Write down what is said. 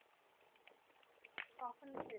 কখন খেলে?